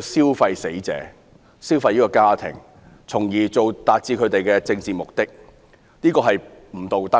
消費"死者及她的家庭，從而達至他們的政治目的，這是不道德的。